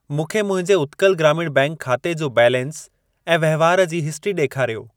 मूंखे मुंहिंजे उत्कल ग्रामीण बैंक खाते जो बैलेंस ऐं वहिंवार जी हिस्ट्री ॾेखारियो।